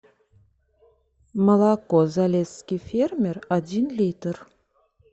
молоко залесский фермер один литр